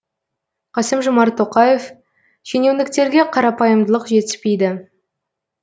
қасым жомарт тоқаев шенеуніктерге қарапайымдылық жетіспейді